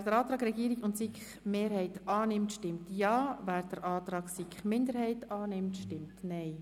Wer dem Antrag Regierungsrat und SiK-Mehrheit zustimmt, stimmt Ja, wer den Antrag SiK-Minderheit annimmt, stimmt Nein.